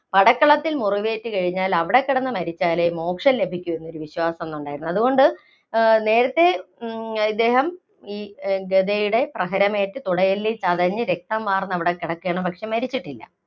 പടക്കളത്തില്‍ മുറിവേറ്റ് കഴിഞ്ഞാല്‍ അവിടെക്കിടന്ന് മരിച്ചാലെ മോക്ഷം ലഭിക്കൂ എന്നുള്ള വിശ്വാസം ഉണ്ടായിരുന്നു. അതുകൊണ്ട് ആ, നേരത്തേ ആ ഇദ്ദേഹം ഗദയുടെ പ്രഹരമേറ്റ് തുടയെല്ലില്‍ ചതഞ്ഞു രക്തം വാര്‍ന്ന് അവിടെ കിടക്കുകയാണ്. പക്ഷേ, മരിച്ചിട്ടില്ല.